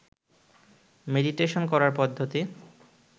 meditation করার পদ্ধতি